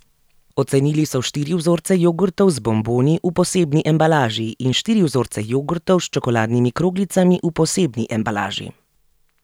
Ocenili so štiri vzorce jogurtov z bomboni v posebni embalaži in štiri vzorce jogurtov s čokoladnimi kroglicami v posebni embalaži.